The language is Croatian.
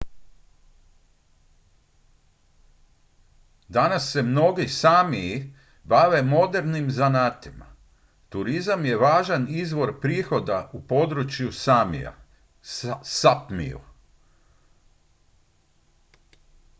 danas se mnogi sámiji bave modernim zanatima. turizam je važan izvor prihoda u području samija sápmiju